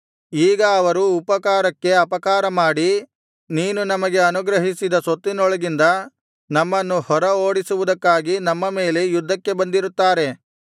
ಈಗ ಅವರು ಉಪಕಾರಕ್ಕೆ ಅಪಕಾರಮಾಡಿ ನೀನು ನಮಗೆ ಅನುಗ್ರಹಿಸಿದ ಸ್ವತ್ತಿನೊಳಗಿಂದ ನಮ್ಮನ್ನು ಹೊರ ಓಡಿಸುವುದಕ್ಕಾಗಿ ನಮ್ಮ ಮೇಲೆ ಯುದ್ಧಕ್ಕೆ ಬಂದಿರುತ್ತಾರೆ